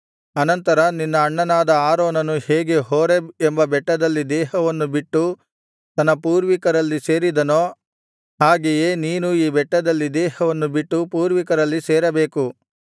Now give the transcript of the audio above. ಅನಂತರ ನಿನ್ನ ಅಣ್ಣನಾದ ಆರೋನನು ಹೇಗೆ ಹೋರೇಬ್ ಎಂಬ ಬೆಟ್ಟದಲ್ಲಿ ದೇಹವನ್ನು ಬಿಟ್ಟು ತನ್ನ ಪೂರ್ವಿಕರಲ್ಲಿ ಸೇರಿದನೋ ಹಾಗೆಯೇ ನೀನೂ ಈ ಬೆಟ್ಟದಲ್ಲಿ ದೇಹವನ್ನು ಬಿಟ್ಟು ಪೂರ್ವಿಕರಲ್ಲಿ ಸೇರಬೇಕು